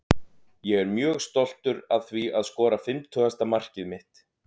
Ég er mjög stoltur að því að skora fimmtugasta mark mitt.